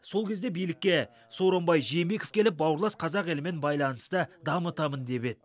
сол кезде билікке сооронбай жээнбеков келіп бауырлас қазақ елімен байланысты дамытамын деп еді